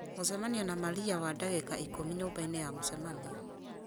mũcemanio na maria wa ndagĩka ikũmi nyũmba-inĩ ya mũcemanio